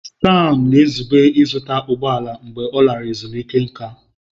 Sam na-ezube ịzụta ụgbọ ala mgbe ọ lara ezumike nká.